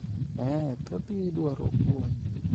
eeh, thoth gi dwaro puonj